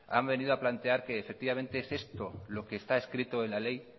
han venido a plantear que efectivamente es esto lo que esta escrito en la ley